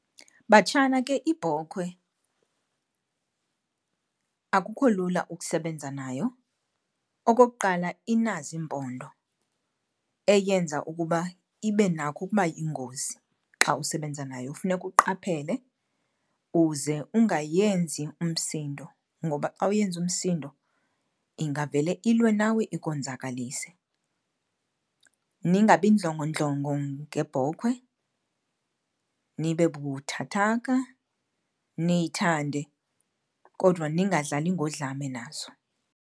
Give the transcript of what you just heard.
Batshana, ke ibhokhwe akukho lula ukusebenza nayo. Okokuqala, inazo iimpondo eyenza ukuba ibe nakho ukuba yingozi xa usebenza nayo. Funeka uqaphele, uze ungayenzi umsindo ngoba xa uyenza umsindo ingavele ilwe nawe ikonzakalise. Ningabindlongondlongo ngebhokhwe, nibe buthathaka, niyithande kodwa ningadlali ngodlame nazo.